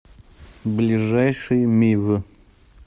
ближайший мив